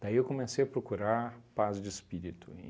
Daí eu comecei a procurar paz de espírito.